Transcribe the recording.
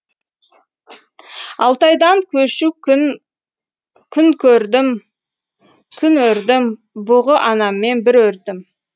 алтайдан көшу күн күн көрдім күн өрдім бұғы анаммен бір өрдім